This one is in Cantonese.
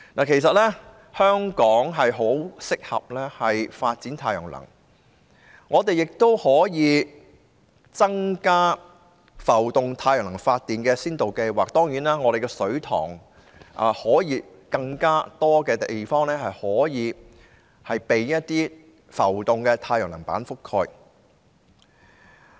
其實香港很適合發展太陽能，我們也可以擴大浮動太陽能發電的先導計劃，香港的水塘可以有更多地方以浮動太陽能板覆蓋。